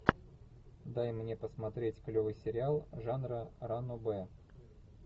дай мне посмотреть клевый сериал жанра ранобэ